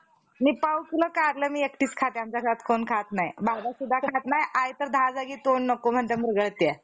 बहुतेक तेथील मुळाच्या छेत्रवा~ छेत्रवासी लोका~ घेरा घालणाऱ्या लोकांसहित एकमेव पिटाळून नंतर तो,